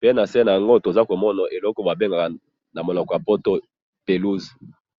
pe nase naango tozakomona eloko babengaka namunoko yapoto pelouse